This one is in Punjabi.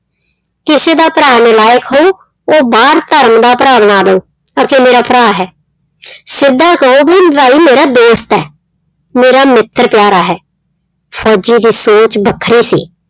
ਕਿਸੇ ਦਾ ਭਰਾ ਨਲਾਇਕ ਹੋਊ ਉਹ ਬਾਹਰ ਧਰਮ ਦਾ ਭਰਾ ਬਣਾ ਲਊ ਅਖੇ ਮੇਰਾ ਭਰਾ ਹੈ ਸਿੱਧਾਂ ਕਹੋ ਵੀ ਭਾਈ ਮੇਰਾ ਦੋਸਤ ਹੈ, ਮੇਰਾ ਮਿੱਤਰ ਪਿਆਰਾ ਹੈ, ਫ਼ੋਜ਼ੀ ਦੀ ਸੋਚ ਵੱਖਰੀ ਸੀ।